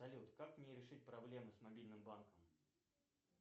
салют как мне решить проблемы с мобильным банком